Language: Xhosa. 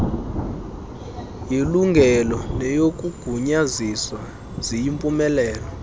yelungelo neyokugunyaziswa ziyimpumelelo